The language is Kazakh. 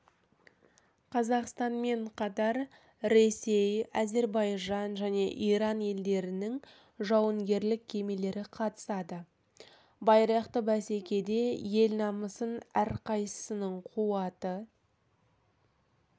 қазақстанменқатар ресей әзербайжан және иран елдерінің жауынгерлік кемелері қатысады байрақты бәсекеде ел намысын әрқайсысының қуаты